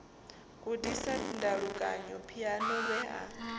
gudisa ndalukanyo phiano lwe a